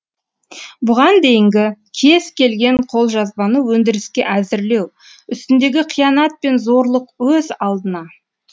бұған дейінгі кез келген қолжазбаны өндіріске әзірлеу үстіндегі қиянат пен зорлық өз алдына